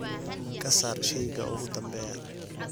ka saar shayga ugu dambeeya